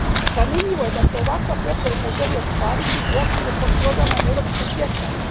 Zanimljivo je da se ovakva preporuka želi ostvariti u okviru potprograma Europsko sjećanje.